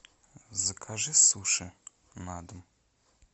закажи суши на дом